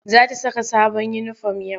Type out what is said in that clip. Za ta saka sabon uniform yau.